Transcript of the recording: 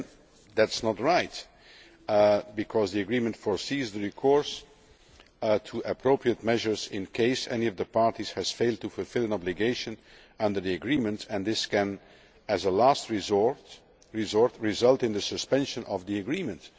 Again that is not right because the agreement provides for recourse to appropriate measures in case any of the parties has failed to fulfil an obligation under the agreement and this can as a last resort result in the suspension of the agreement.